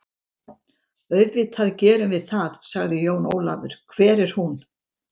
Auðvitað gerum við það, sagði Jón Ólafur, hvar er hún?